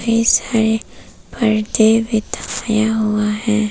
ये सारे पर्दे बिठाया हुआ है।